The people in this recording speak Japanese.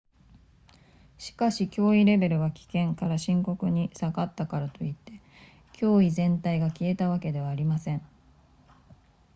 「しかし、脅威レベルが「危険」から「深刻」に下がったからといって脅威全体が消えたわけではありません」